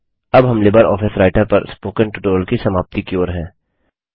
अब हम LibreOffice writer पर स्पोकन ट्यूटोरियल की समाप्ति की ओर हैं